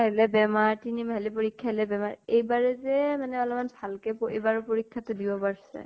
আহিলে বেমাৰ, তিনি মাহিলী পৰীক্ষা আহিলে বেমাৰ । এইবাৰে যে মানে অলমান ভাল কে প এইবাৰ পৰীক্ষা টো দিব পাৰ-ছে।